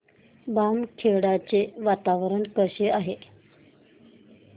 बामखेडा चे वातावरण कसे आहे